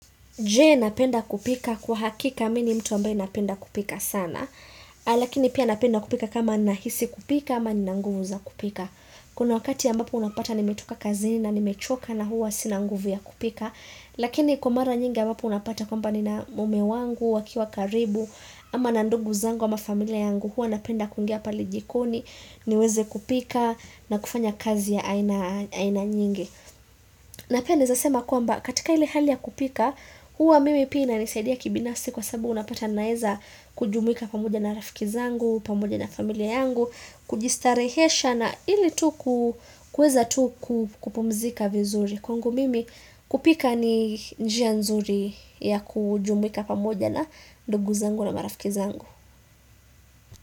Je napenda kupika kwa hakika mi ni mtu ambaye napenda kupika sana, lakini pia napenda kupika kama nahisi kupika ama nina nguvu za kupika. Kuna wakati mbapo unapata nimetoka kazini na nimechoka na huwa sina nguvu ya kupika, lakini kwa mara nyingi ambapo unapata kwamba nina mume wangu, wakiwa karibu, ama na ndungu zangu ama familia yangu, huwa napenda kungia pale jikoni, niweze kupika na kufanya kazi ya aina nyingi. Na pi nazasema kuamba katika ile hali ya kupika, huwa mimi pia inisaidia kibinasi kwa sabu unapata naeza kujumuika pamoja na rafiki zangu, pamoja na familia yangu, kujistarehesha na ili tuku kuweza tu kukupumzika vizuri. Kwangu mimi kupika ni njia nzuri ya kujumuika pamoja na ndugu zangu na marafiki zangu.